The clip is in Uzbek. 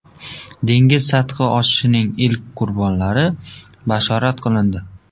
Dengiz sathi oshishining ilk qurbonlari bashorat qilindi.